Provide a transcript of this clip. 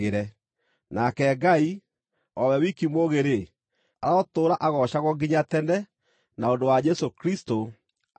nake Ngai, o we wiki mũũgĩ-rĩ, arotũũra agoocagwo nginya tene na ũndũ wa Jesũ Kristũ! Ameni.